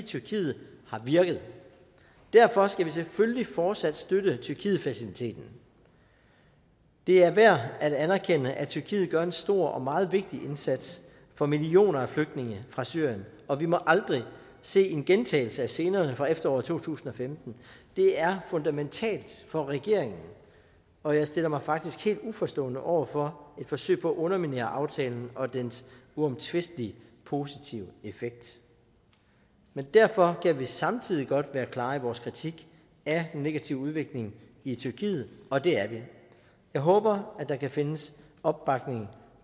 tyrkiet har virket derfor skal vi selvfølgelig fortsat støtte tyrkietfaciliteten det er værd at anerkende at tyrkiet gør en stor og meget vigtig indsats for millioner af flygtninge fra syrien og vi må aldrig se en gentagelse af scenerne fra efteråret to tusind og femten det er fundamentalt for regeringen og jeg stiller mig faktisk helt uforstående over for et forsøg på at underminere aftalen og dens uomtvistelige positive effekt men derfor kan vi godt samtidig være klare i vores kritik af den negative udvikling i tyrkiet og det er vi jeg håber der kan findes opbakning